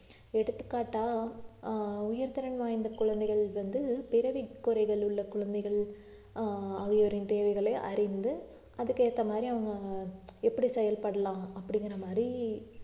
எடுத்துக்காட்டா ஆஹ் உயர்திறன் வாய்ந்த குழந்தைகள் வந்து பிறவி குறைகள் உள்ள குழந்தைகள் ஆஹ் ஆகியோரின் தேவைகளை அறிந்து அதுக்கேத்த மாதிரி அவங்க எப்படி செயல்படலாம் அப்படிங்கிற மாதிரி